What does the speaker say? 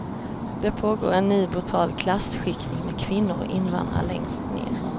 Det pågår en ny brutal klasskiktning med kvinnor och invandrare längst ner.